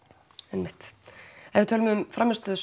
einmitt ef við tölum um frammistöðu